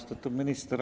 Austatud minister!